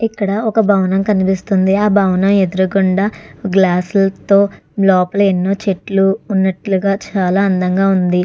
ఇక్కడ ఒక భవనం కనిపిస్తుంది ఆ భవనం ఎదురు గుండా గ్లాసుల తో లోపల ఎన్నో చెట్లు ఉన్నట్లుగా చాలా అందంగా ఉంది.